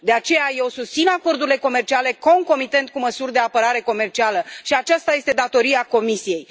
De aceea eu susțin acordurile comerciale, concomitent cu măsuri de apărare comercială și aceasta este datoria Comisiei.